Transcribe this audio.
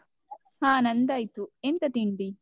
ಹ ನಂದು ಆಯ್ತು, ಎಂತ ತಿಂಡಿ?